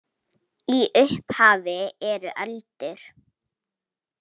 Í upphafi eru öldur.